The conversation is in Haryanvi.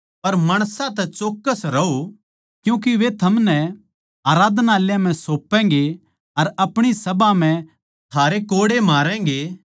पर माणसां तै चौक्कस रहों क्यूँके वे थमनै बड्डी आराधनालयाँ म्ह सौपैगें अर अपणी सभा म्ह थारै कोड़े मारैगें